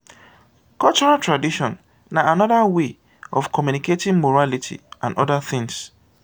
cultural tradition na anoda wey of communicating morality and oda things